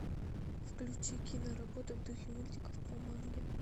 включи киноработу в духе мультиков по манге